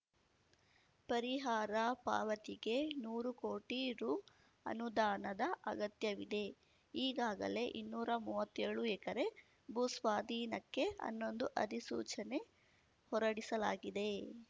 ಪರಿಹಾರ ಪಾವತಿಗೆ ನೂರು ಕೋಟಿ ರು ಅನುದಾನದ ಅಗತ್ಯವಿದೆ ಈಗಾಗಲೆ ಇನ್ನೂರಾ ಮುವ್ವತ್ತ್ಯೋಳು ಎಕರೆ ಭೂಸ್ವಾಧೀನಕ್ಕೆ ಅನ್ನೊಂದು ಅಧಿಸೂಚನೆ ಹೊರಡಿಸಲಾಗಿದೆ